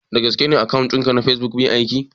Da gaske ne akawun ɗin ka na facebook bai aiki?